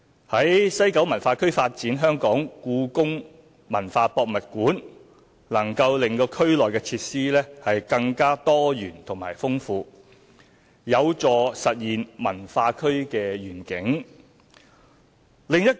在西九文化區發展香港故宮文化博物館能令區內設施更多元豐富，有助實現文化區的願景。